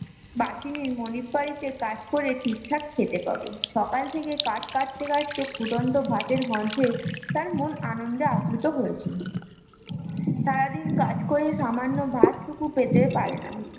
বাহিনীর মনিত বাড়ীতে কাজ করে ঠিকঠাক খেতে পাবে সকাল থেকে কাঠ কাটতে কাটতে ফুটন্ত ভাতের মধ্যে তার মন আনন্দে আপ্লুত হয়েছিল সারাদিন কাজ করে সামান্য ভাত পুকুর পেতে পারেনা